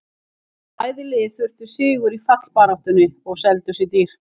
Bæði lið þurftu sigur í fallbaráttunni og seldu sig dýrt.